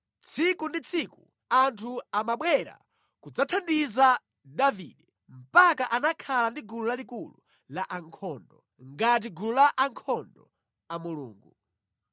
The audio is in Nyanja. Tsiku ndi tsiku anthu amabwera kudzathandiza Davide, mpaka anakhala ndi gulu lalikulu la ankhondo, ngati gulu la ankhondo a Mulungu.